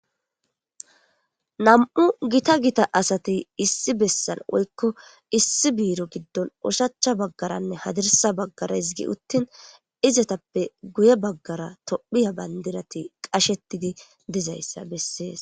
Nam'u gita gita asati issi bessan woykko issi biiro giddon oshachcha baggarane hadirssa baggara hizgi uttin izetappe guye baggara Tophphiya bandirati qashetidi dizayssa bessees.